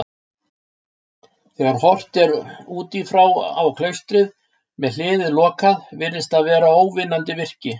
Þegar horft er útífrá á klaustrið, með hliðið lokað, virðist það vera óvinnandi virki.